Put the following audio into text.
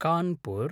Kanpur